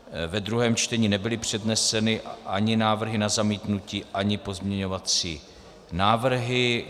Ve druhém čtení nebyly předneseny ani návrhy na zamítnutí, ani pozměňovací návrhy.